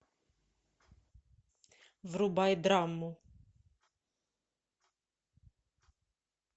врубай драму